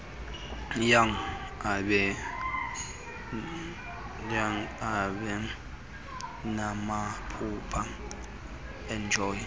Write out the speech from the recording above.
young ebenamaphupha enenjongo